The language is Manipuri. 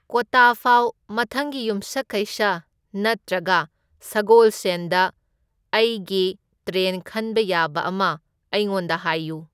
ꯀꯣꯇꯥ ꯐꯥꯎ ꯃꯊꯪꯒꯤ ꯌꯨꯝꯁꯀꯩꯁ ꯅꯠꯇ꯭ꯔꯒ ꯁꯒꯣꯜꯁꯦꯟꯗ ꯑꯩꯒꯤ ꯇ꯭ꯔꯦꯟ ꯈꯟꯕ ꯌꯥꯕ ꯑꯃ ꯑꯩꯉꯣꯟꯗ ꯍꯥꯏꯌꯨ